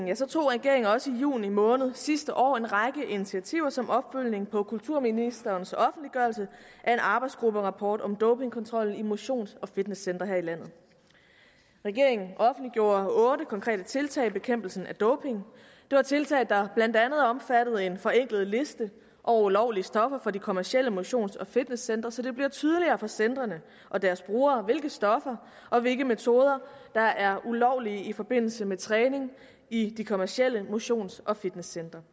tog regeringen også i juni måned sidste år en række initiativer som opfølgning på kulturministerens offentliggørelse af en arbejdsgrupperapport om dopingkontrol i motions og fitnesscentre her i landet regeringen offentliggjorde otte konkrete tiltag i bekæmpelsen af doping det var tiltag der blandt andet omfattede en forenklet liste over ulovlige stoffer for de kommercielle motions og fitnesscentre så det bliver tydeligere for centrene og deres brugere hvilke stoffer og hvilke metoder der er ulovlige i forbindelse med træning i de kommercielle motions og fitnesscentre